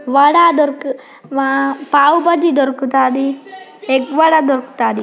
వడ దొరుకు - వా - పావు బాజిదొరుకుతాది ఎగ్ వడ దొరుకుతాది.